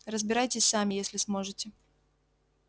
разбирайтесь сами если сможете